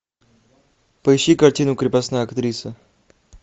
поищи картину крепостная актриса